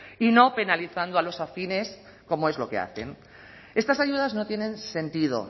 y no penalizando a los afines como es lo que hacen estas ayudas no tienen sentido